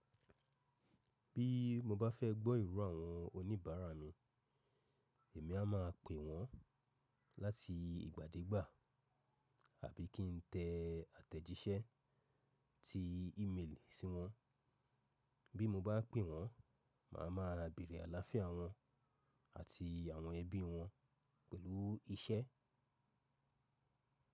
Bí mo bá fẹ́ gbọ́ iro àwọn oníbàárà mi, èmi a máa pè wọ́n láti ìgbàdégbà àbí kí n tẹ àtẹ̀jíṣẹ́ ti ímeelì sí wọn. Bí mo bá pè wọ́n, màá ma béèrè àlàáfíà wọn àti àwọn ẹbí wọn pẹ̀lú iṣẹ́.